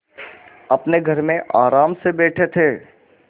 अपने घर में आराम से बैठे थे